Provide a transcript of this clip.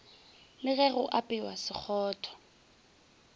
le ge go apewa sekgotho